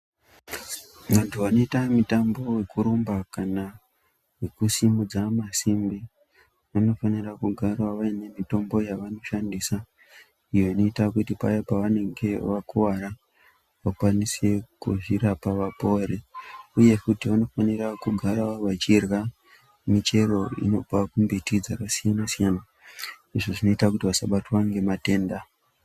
Vantu vanoita mutambo wekurumba kana wekusimudza masimbi vanofana kugarawo vane mitombo yavanoshandisa iyo inoita kuti paya pavanenge vakuwara vakwanise kuzvirapa vapore. Uye futi vanofana kugara vachirya michero inobva kumbiti dzakasiyana siyana izvo zvinoita kuti vasabatwa ngematenda.